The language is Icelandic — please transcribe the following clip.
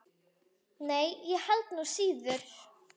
Nei, og ég held nú síður.